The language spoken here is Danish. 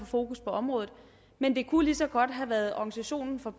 fokus på området men det kunne lige så godt have været organisationen for